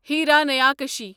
ہیرانیاکٕشی